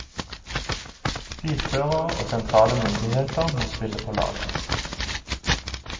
Bilførere og sentrale myndigheter må spille på lag.